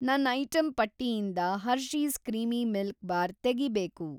ನನ್‌ ಐಟಂ ಪಟ್ಟಿಯಿಂದ Hershey's creamy milk bar ತೆಗೀಬೇಕು.